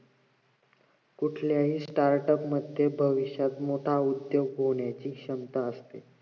कुठल्याही startup मध्ये भविष्यात मोठा उद्दोग होण्याची क्षमता असते